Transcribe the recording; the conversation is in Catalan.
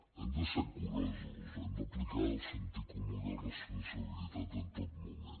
hem de ser curosos hem d’aplicar el sentit comú i la responsabilitat en tot moment